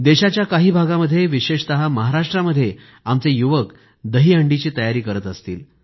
देशाच्या काही भागामध्ये विशेषतः महाराष्ट्रातले आमचे युवक दही हंडीची तयारी करत असतील